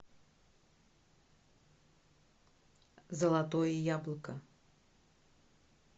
золотое яблоко